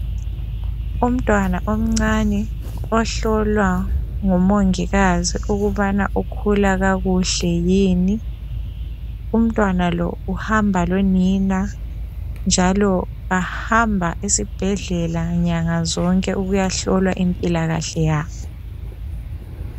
umuntwana omncane ohlolwa ngomongikazi ukubana ukhula kakuhle yini umuntwana lo uhamba lonina njalo bahamba esibhedlela nyanga zonke ukuyahlola impilakahle yakhe